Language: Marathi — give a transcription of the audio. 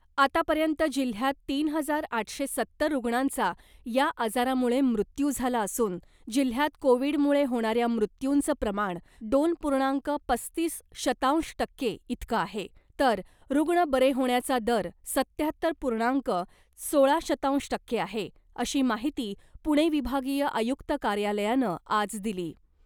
आता पर्यंत जिल्ह्यात तीन हजार आठशे सत्तर रुग्णांचा या आजारामुळे मृत्यू झाला असून, जिल्ह्यात कोविडमुळे होणाऱ्या मृत्युंचं प्रमाण दोन पूर्णांक पस्तीस शतांश टक्के इतकं आहे, तर रुग्ण बरे होण्याचा दर सत्त्याहत्तर पूर्णांक सोळा शतांश टक्के आहे , अशी माहिती पुणे विभागीय आयुक्त कार्यालयानं आज दिली .